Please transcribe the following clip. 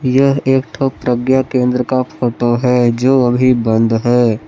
यह एक ठो प्रज्ञा केंद्र का फोटो है जो अभी बंद है।